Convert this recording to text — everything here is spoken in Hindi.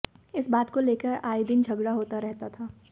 इस बात को लेकर आए दिन झगड़ा होता रहता था